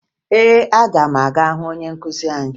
Ee, aga m aga hụ onye nkụzi anyị